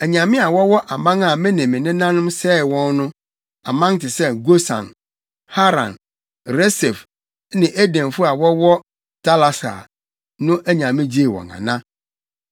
Anyame a wɔwɔ aman a me nenanom sɛee wɔn no, aman te sɛ, Gosan, Haran, Resef ne Edenfo a na wɔwɔ Talasar no anyame gyee wɔn ana?